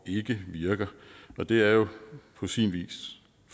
ikke virker og det er jo på sin vis